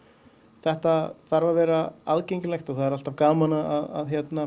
þetta þarf að vera aðgengilegt og það er alltaf gaman að